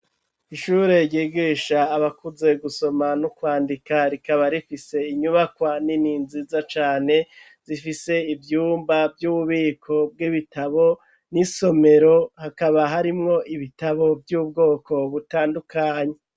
Ishure, ryigisha abakuze, gusoma n'ukwandika, rikaba rifise inyubakwa nini, nziza cane, zifise ivyumba, vy'ububiko bw'ibitabo, n'isomero; hakaba harimwo ibitabo, vy'ubwoko butandukanye.